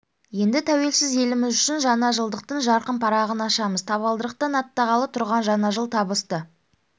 енді тәуелсіз еліміз үшін жаңа жылдықтың жарқын парағын ашамыз табалдырықтан аттағалы тұрған жаңа жыл табысты